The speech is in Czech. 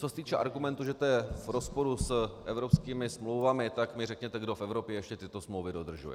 Co se týče argumentu, že to je v rozporu s evropskými smlouvami, tak mi řekněte, kdo v Evropě ještě tyto smlouvy dodržuje.